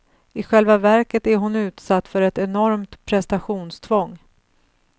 I själva verket är hon utsatt för ett enormt prestationstvång.